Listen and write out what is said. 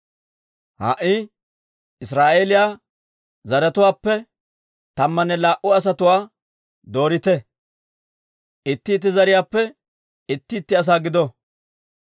Ha"i Israa'eeliyaa zaratuwaappe tammanne laa"u asatuwaa doorite; itti itti zariyaappe itti itti asaa gido.